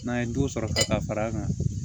N'an ye duw sɔrɔ ka fara a kan